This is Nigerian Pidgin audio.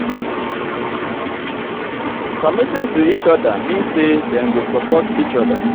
committing to each other mean say dem go support each other.